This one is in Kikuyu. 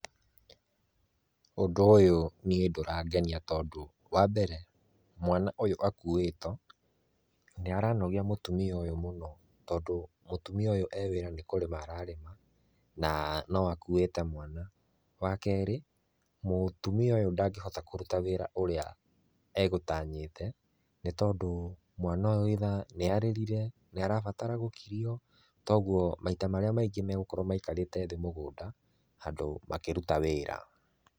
Ũndũ ũyũ niĩ ndũrangenia tondũ wa mbere, mwana ũyũ akuitwo, nĩ ara nogia mũtumia ũyũ mũno, tondũ mũtumia ũyũ e wĩra nĩ kũrĩma ararĩma , na no akuĩte mwana. Wa kerĩ, mũtumia ũyũ ndagĩhota kũruta wĩra ũrĩa agũtanyĩte nĩ tondũ mwana ũyũ either nĩ arĩrire, nĩ arabatara gũkirio, kogwo maita marĩa maingĩ megũkorwo maikarĩte thĩ mũgũnda handũ makĩruta wĩra.